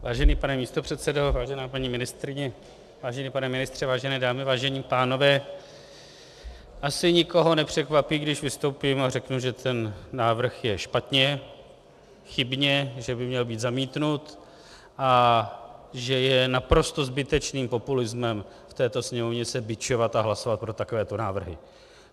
Vážený pane místopředsedo, vážená paní ministryně, vážený pane ministře, vážené dámy, vážení pánové, asi nikoho nepřekvapí, když vystoupím a řeknu, že ten návrh je špatně, chybně, že by měl být zamítnut a že je naprosto zbytečným populismem v této Sněmovně se bičovat a hlasovat pro takovéto návrhy.